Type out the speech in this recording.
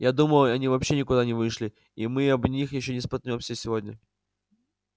я думаю они вообще никуда не вышли и мы об них ещё не споткнёмся сегодня